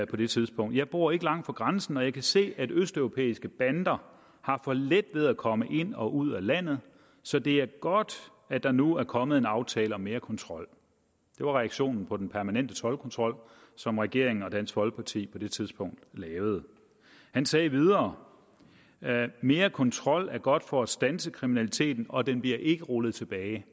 på det tidspunkt jeg bor ikke langt fra grænsen og jeg kan se at østeuropæiske bander har for let ved at komme ind og ud af landet så det er godt at der nu er kommet en aftale om mere kontrol det var reaktionen på den permanente toldkontrol som regeringen og dansk folkeparti på det tidspunkt lavede han sagde videre mere kontrol er godt for at standse kriminaliteten og den bliver ikke rullet tilbage